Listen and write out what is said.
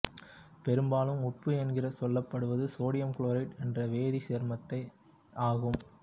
பெரும்பாலும் உப்பு என்று சொல்லப்படுவது சோடியம் குளோரைடு என்ற வேதிச்சேர்மத்தையே ஆகும்